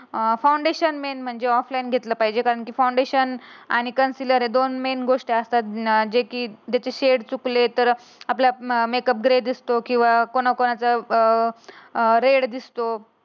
Foundation main म्हणजे offline घेतले पाहिजे. फाउंडेशन आणि कन्सिलर या दोन मेन गोष्टी असतात. जे की ज्याचे सेट चुकले तर आपला मेकअप ग्रे दिसतो किंवा कुणाकुणाचा अं रेड दिसतो.